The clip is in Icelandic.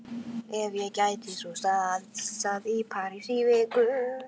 Ef ég gæti svo stansað í París í viku?